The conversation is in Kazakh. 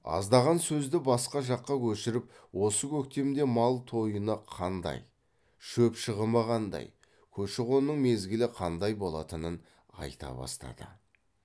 аздаған соң сөзді басқа жаққа көшіріп осы көктемде мал тойыны қандай шөп шығымы қандай көші қонның мезгілі қандай болатынын айта бастады